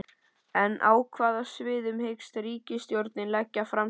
En á hvaða sviðum hyggst ríkisstjórnin leggja fram sín spil?